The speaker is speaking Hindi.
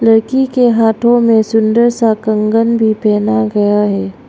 लड़की के हाथों में सुंदर सा कंगन भी पहना गया है।